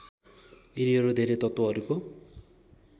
यिनीहरू धेरै तत्त्वहरूको